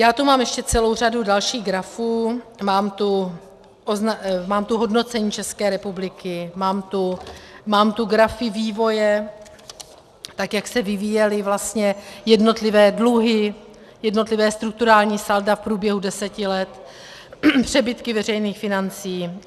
Já tu mám ještě celou řadu dalších grafů, mám tu hodnocení České republiky, mám tu grafy vývoje, tak jak se vyvíjely vlastně jednotlivé dluhy, jednotlivá strukturální salda v průběhu deseti let, přebytky veřejných financí.